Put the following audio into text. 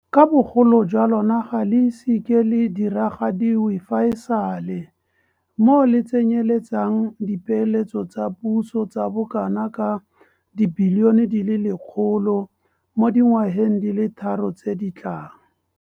ka bogolo jwa lona ga le ise le ke le diragadiwe fa e sale, moo le tsenyeletsang dipeeletso tsa puso tsa bokanaka R100 bilione mo dingwageng di le tharo tse di tlang.